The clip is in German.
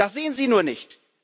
Das sehen Sie nur nicht!